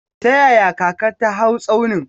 Ta yaya kaka ta hau tsaunin?